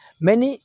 ni